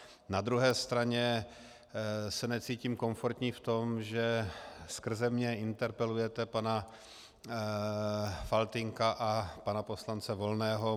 Na druhé straně se necítím komfortní v tom, že skrze mě interpelujete pana Faltýnka a pana poslance Volného.